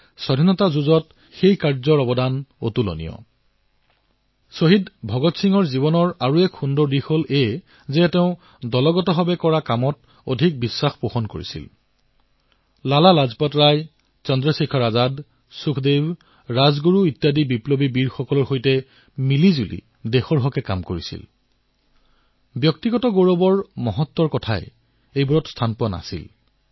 শ্বহীদ বীৰ ভগৎ সিঙৰ জীৱনৰ আন এক সুন্দৰ কথা এয়ে যে তেওঁ দলীয় কৰ্মৰ মহত্ব ভালদৰেই বুজি পাইছিল